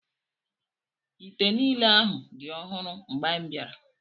Ite niile ahụ dị ọhụrụ mgbe anyị bịara.